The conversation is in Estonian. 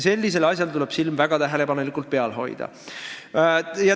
Sellisel asjal tuleb silm väga tähelepanelikult peal hoida.